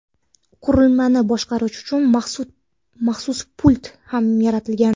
Qurilmani boshqarish uchun maxsus pult ham yaratilgan.